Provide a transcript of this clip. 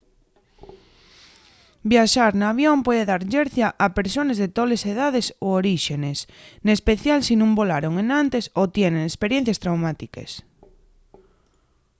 viaxar n'avión puede dar llercia a persones de toles edaes o oríxenes n'especial si nun volaron enantes o tienen esperiencies traumátiques